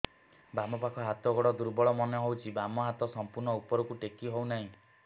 ବାମ ପାଖ ହାତ ଗୋଡ ଦୁର୍ବଳ ମନେ ହଉଛି ବାମ ହାତ ସମ୍ପୂର୍ଣ ଉପରକୁ ଟେକି ହଉ ନାହିଁ